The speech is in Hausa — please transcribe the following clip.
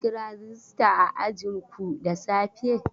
An kira rajista a ajinku da safe?